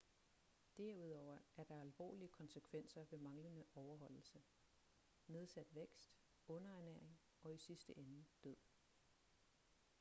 derudover er der alvorlige konsekvenser ved manglende overholdelse nedsat vækst underernæring og i sidste ende død